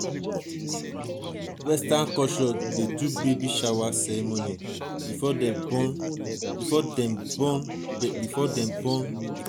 western culture dey do baby shower ceremony before dem born before dem born di pikin